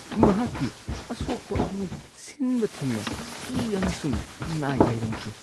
ꯃꯍꯥꯛꯀꯤ ꯑꯁꯣꯛꯄ ꯑꯗꯨ ꯁꯤꯟꯕ ꯊꯨꯡꯅ ꯏ ꯑꯃꯁꯨꯡ ꯅꯥꯏ ꯂꯩꯔꯝꯈꯤ꯫